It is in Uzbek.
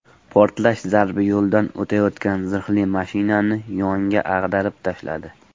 Portlash zarbi yo‘ldan o‘tayotgan zirhli mashinani yonga ag‘darib tashladi.